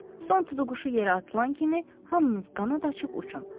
Son tutuquşu yerə atılan kimi hamınız qanad açıb uçun.